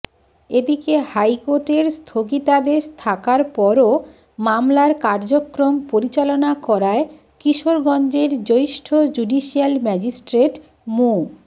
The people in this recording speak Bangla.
এদিকে হাইকোর্টের স্থগিতাদেশ থাকার পরও মামলার কার্যক্রম পরিচালনা করায় কিশোরগঞ্জের জ্যেষ্ঠ জুডিশিয়াল ম্যাজিস্ট্রেট মো